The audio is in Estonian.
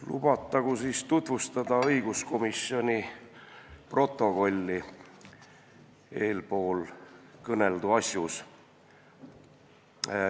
Lubatagu tutvustada õiguskomisjoni protokolli eespool kõneldud teemal.